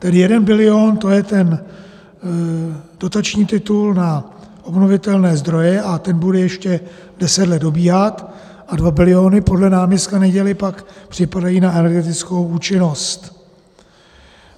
Tedy 1 bilion, to je ten dotační titul na obnovitelné zdroje a ten bude ještě deset let dobíhat, a 2 biliony podle náměstka Neděly pak připadají na energetickou účinnost.